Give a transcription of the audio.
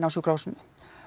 á sjúkrahúsinu